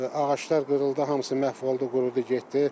Ağaclar qırıldı, hamısı məhv oldu, qurudu getdi.